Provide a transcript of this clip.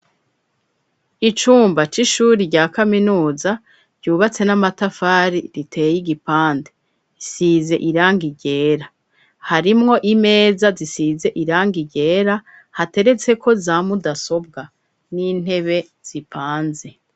Icumba c'ishuri rya kaminuza ryubatse n'amatafari riteye igipande risize irangi gera harimwo imeza zisize irang gera hateretseko zamudasobwa n'intebe zipanze.